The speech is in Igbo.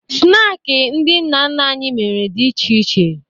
Snaakị ndị nna nna anyị mere dị iche iche